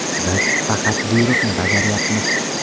Biz faqat buyruqni bajaryapmiz.